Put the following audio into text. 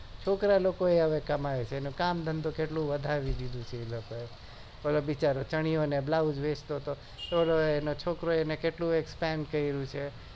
છોકરા લોકોય હવે કમાય છે એને કામ ધનો બી વધારી દીધું છે પેલો બિચારો ચણ્યો ને બ્લૌસ વેચતો હતો છોકરો એને ઘનુયે કામ કર્યું છે